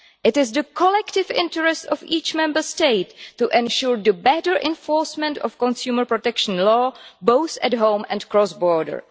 It is in the collective interest of each Member State to ensure the better enforcement of consumer protection law, both at home and cross border.